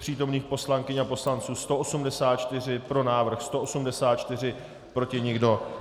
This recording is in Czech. Přítomných poslankyň a poslanců 184, pro návrh 184, proti nikdo.